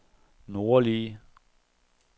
nordlige